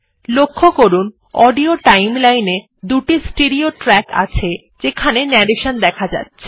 লক্ষ্য করুন audio timeline এ দুটি স্টেরেও ট্র্যাক আছে যেখানে ন্যারেশন দেখা যাচ্ছে